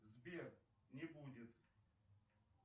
сбер не будет